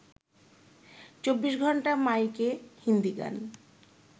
চব্বিশ ঘণ্টা মাইকে হিন্দি গান